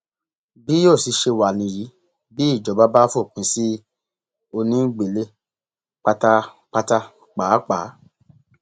bí yóò sì ṣe wá níyì bí ìjọba bá fòpin sí onígbélé pátápátá pàápàá